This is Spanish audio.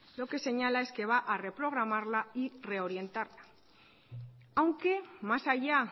lo que señala es que va a reprogramarla y reorientarla aunque más allá